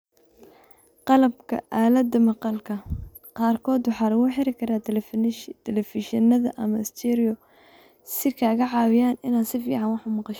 Qalabka aalada maqalka qaarkood waxa lagu xidhi karaa telefishinada ama stereos si ay kaaga caawiyaan inaad si fiican wax u maqasho.